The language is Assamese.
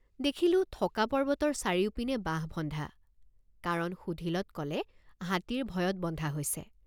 দেখিলোঁ থকা পৰ্বতৰ চাৰিওপিনে বাঁহ বন্ধা কাৰণ সুধিলত কলে হাতীৰ ভয়ত বন্ধা হৈছে।